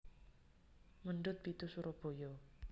Mendut pitu Surabaya